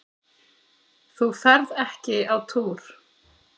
Þú ferð ekki á túr!